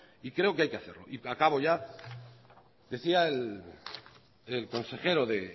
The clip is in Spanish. y creo que hay que hacerlo y acabo ya decía el consejero de